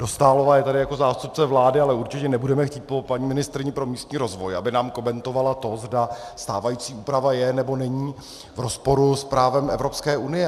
Dostálová je tady jako zástupce vlády, ale určitě nebudeme chtít po paní ministryni pro místní rozvoj, aby nám komentovala to, zda stávající úprava je, nebo není v rozporu s právem Evropské unie.